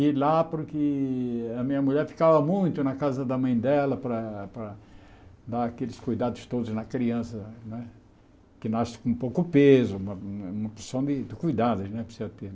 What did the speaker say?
e lá porque a minha mulher ficava muito na casa da mãe dela para para dar aqueles cuidados todos na criança né, que nasce com pouco peso, uma uma opção de de cuidados né que precisa ter.